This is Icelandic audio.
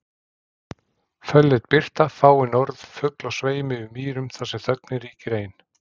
Fölleit birta, fáein orð fugl á sveimi yfir mýrum þar sem þögnin ríkir ein